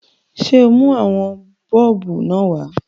Ṣé o mú àwọn bọ́ọ̀bù náà wá?